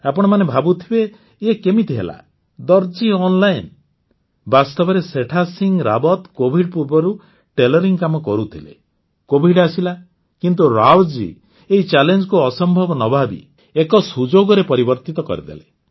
ଆପଣମାନେ ଭାବୁଥିବେ ଏ କେମିତି ହେଲା ଅନଲାଇନ ବାସ୍ତବରେ ସେଠାସିଂହ ରାୱତ କୋଭିଡ୍ ପୂର୍ବରୁ ଟେଲରିଂ କାମ କରୁଥିଲେ କୋଭିଡ୍ ଆସିଲା କିନ୍ତୁ ରାୱତଜୀ ଏଇ Challengeକୁ ଅସମ୍ଭବ ନ ଭାବି ଏକ ସୁଯୋଗରେ ପରିବର୍ତ୍ତିତ କରିଦେଲେ